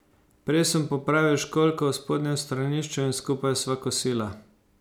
Prej sem popravil školjko v spodnjem stranišču in skupaj sva kosila.